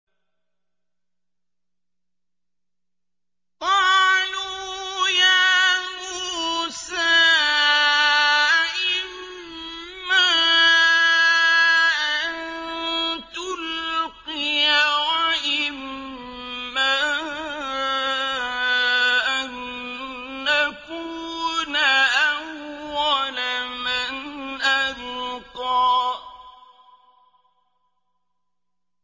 قَالُوا يَا مُوسَىٰ إِمَّا أَن تُلْقِيَ وَإِمَّا أَن نَّكُونَ أَوَّلَ مَنْ أَلْقَىٰ